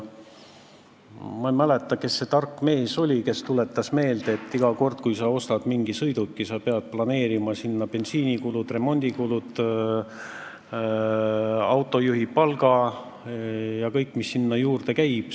Ma ei mäleta, kes see tark mees oli, aga ta tuletas meelde, et iga kord, kui sa ostad mingi sõiduki, pead sa planeerima ka bensiinikulud, remondikulud, autojuhi palga – kõik, mis sinna juurde käib.